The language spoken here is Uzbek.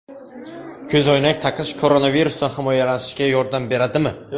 Ko‘zoynak taqish koronavirusdan himoyalanishga yordam beradimi?.